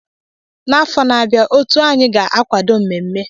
N'afọ na-abịa, otu anyị ga-akwado mmemme.